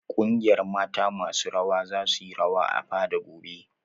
Ƙungiyar mata masu rawa za su yi rawa a fada gobe.